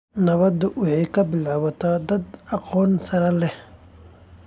Nabadda waxay ka bilaabataa dad aqoon sare leh.